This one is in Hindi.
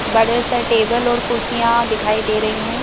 बड़े से टेबल और कुर्सियाँ दिखाई दे रही हैं।